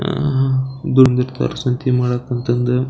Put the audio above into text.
ಆಹ್ಹ್ ಬಂದಿರ್ತಾರ ಸಂತೆ ಮಾಡೋಕ್ ಅಂತಂದು.